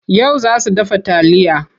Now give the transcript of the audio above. Yau za su dafa taliya.